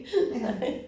Ja